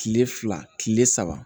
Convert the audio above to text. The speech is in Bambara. Kile fila kile saba